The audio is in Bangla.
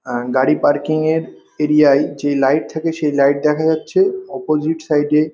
আর গাড়ি পার্কিং এর এরিয়ায় যে লাইট থাকে সেই লাইট দেখা যাচ্ছে অপসিতে সাইড --